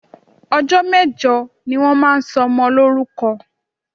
Ọjọ́ mẹ́jọ ni wọ́n máa ń sọ ọmọ lórúkọ